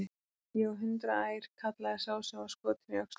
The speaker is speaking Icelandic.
Ég á hundrað ær, kallaði sá sem var skotinn í öxlina.